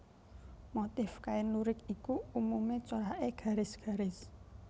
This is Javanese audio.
Motif kain lurik iku umumé coraké garis garis